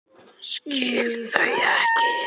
Skil þau ekki.